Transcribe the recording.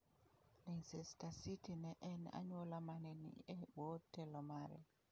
"""Leicester City ne en anyuola mane ni e bwo telo mare."